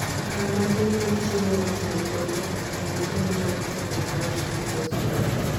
Okang ' matin mar chiemo moting'o protein, okang ' matin mar teko, calcium, phosphorus.